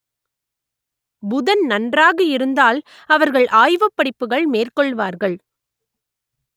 புதன் நன்றாக இருந்தால் அவர்கள் ஆய்வுப் படிப்புகள் மேற்கொள்வார்கள்